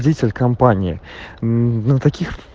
житель компании ну таких